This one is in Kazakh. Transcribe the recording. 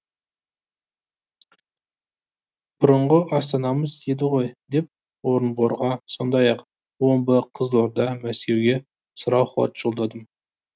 бұрынғы астанамыз еді ғой деп орынборға сондай ақ омбы қызылорда мәскеуге сұрау хат жолдадым